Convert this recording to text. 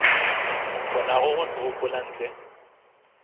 kgonago go se gopola ntle